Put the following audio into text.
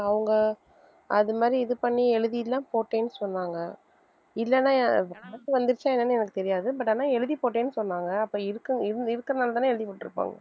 அவங்க அது மாதிரி இது பண்ணி எழுதி எல்லாம் போட்டேன்னு சொன்னாங்க இல்லைன்னா அஹ் amount வந்துருச்சா என்னன்னு எனக்கு தெரியாது but ஆனா எழுதி போட்டேன்னு சொன்னாங்க அப்ப இருக்க~ இருந்~ இருக்கறதுனாலதானே எழுதி போட்டுருப்பாங்க.